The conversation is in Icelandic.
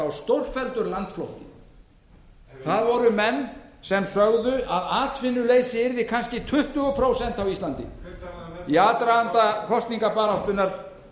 á það voru menn sem sögðu að atvinnuleysi yrði kannski tuttugu prósent á íslandi hver talaði um í aðdraganda kosningabaráttunnar